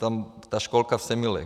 Tam ta školka v Semilech.